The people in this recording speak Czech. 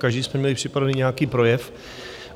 Každý jsme měli připravený nějaký projev.